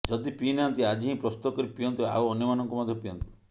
ଯଦି ପିଇ ନାହାନ୍ତି ଆଜି ହିଁ ପ୍ରସ୍ତୁତ କରି ପିଅନ୍ତୁ ଆଉ ଅନ୍ୟମାନଙ୍କୁ ମଧ୍ୟ ପିଆନ୍ତୁ